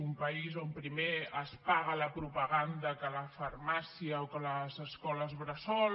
un país on primer es paga la propaganda que la farmàcia o que les escoles bressol